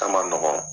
A ma nɔgɔn